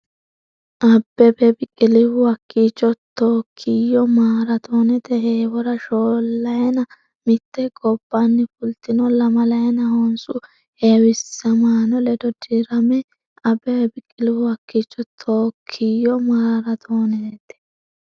Abbebe Biqilihu hakkiicho Tookkiyo maaraatoonete heewora shoollayina mitte gobbanni fultino lamalayina honsu heewisamaano ledo dirami Abbebe Biqilihu hakkiicho Tookkiyo maaraatoonete.